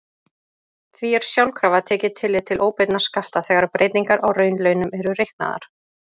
Því er sjálfkrafa tekið tillit til óbeinna skatta þegar breytingar á raunlaunum eru reiknaðar.